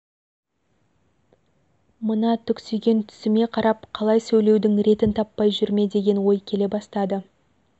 мына түксиген түсіме қарап қалай сөйлесудің ретін таппай жүр ме деген ой келе бастады